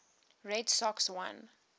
red sox won